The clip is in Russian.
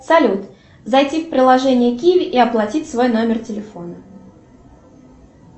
салют зайти в приложение киви и оплатить свой номер телефона